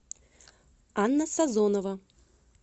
анна сазонова